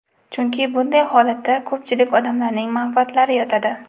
Chunki bunday holatda ko‘pchilik odamlarning manfaatlari yotadi.